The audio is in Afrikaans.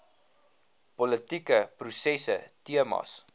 politieke prosesse temas